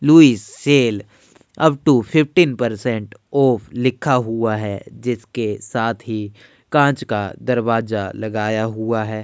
Louis sale up to fifteen percent off लिखा हुआ है जिसके साथ ही कांच का दरवाजा लगाया हुअ है।